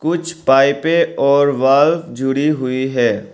कुछ पाइपे और वॉल जुड़ी हुई है।